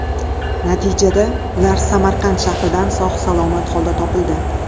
Natijada ular Samarqand shahridan sog‘-salomat holda topildi.